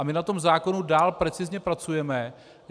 A my na tom zákonu dál precizně pracujeme.